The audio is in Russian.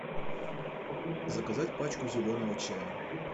заказать пачку зеленого чая